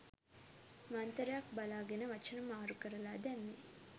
මන්තරයක් බලාගෙන වචන මාරු කරලා දැම්මේ.